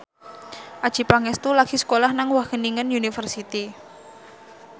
Adjie Pangestu lagi sekolah nang Wageningen University